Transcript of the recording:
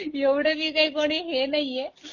ऐवढ मी काय कुणी हे नाहीये